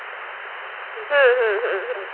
হম হম হম হম হম